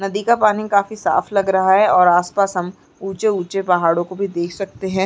नदी का पानी काफी साफ लग रहा है और आस-पास हम ऊंचे-ऊंचे पहाड़ों को भी देख सकते हैं।